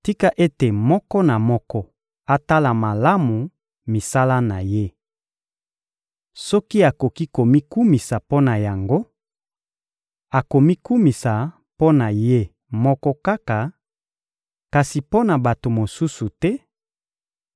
Tika ete moko na moko atala malamu misala na ye! Soki akoki komikumisa mpo na yango, akomikumisa mpo na ye moko kaka, kasi mpo na bato mosusu te;